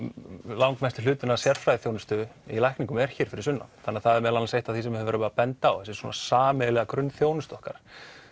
langmestur hluti af sérfræðiþjónustu í lækningum er hér fyrir sunnan þannig það er meðal annars eitt af því sem við höfum verið að benda á svona sameiginlega grunnþjónustu okkar